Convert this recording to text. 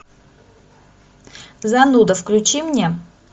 зануда включи мне